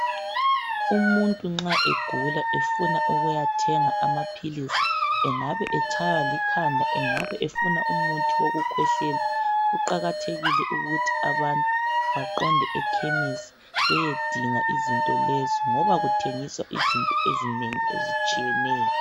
Umuntu nxa egula efuna ukuyathenga amaphilisi engabe etshaywa likhanda engabe efuna umuthi wokukhwehlela kuqakathekile ukuthi abantu baqonde ekhemisi bayedinga izinto lezi ngoba kuthengiswa izinto ezinengi ezitshiyeneyo .